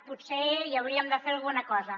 potser hi hauríem de fer alguna cosa